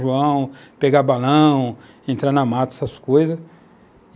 pegar balão, entrar na mata, essas coisas.